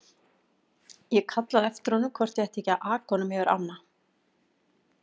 Ég kallaði á eftir honum hvort ég ætti ekki að aka honum yfir ána.